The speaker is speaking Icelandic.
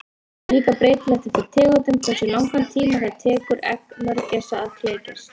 Það er líka breytilegt eftir tegundum hversu langan tíma það tekur egg mörgæsa að klekjast.